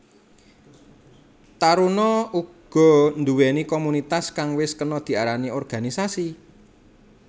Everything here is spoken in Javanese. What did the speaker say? Taruna uga nduweni komunitas kang wis kena diarani organisasi